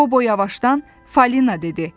Qobo yavaşdan Falina dedi.